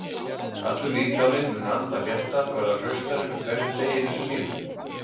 Allur líkaminn mun anda léttar og verða hraustari með hverjum deginum sem líður.